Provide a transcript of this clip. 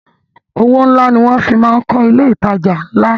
Owó ńlá ni wọn fi máa ń kọ ilé ìtajà ńlá